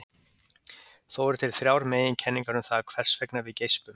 Þó eru til þrjár meginkenningar um það hvers vegna við geispum.